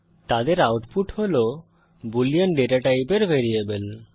তাদের আউটপুট হল boolean data টাইপের ভ্যারিয়েবল